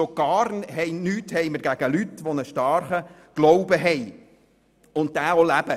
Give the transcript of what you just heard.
Schon gar nichts haben wir gegen Leute, die einen starken Glauben haben und diesen leben.